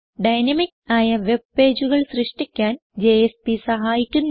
dynamic ആയ web പേജുകൾ സൃഷ്ടിക്കാൻ ജെഎസ്പി സഹായിക്കുന്നു